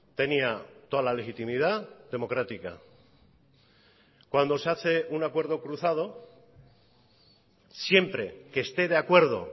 tenía toda la legitimidad democrática cuando se hace un acuerdo cruzado siempre que esté de acuerdo